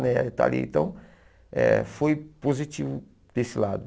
Né está ali então, eh foi positivo desse lado.